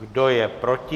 Kdo je proti?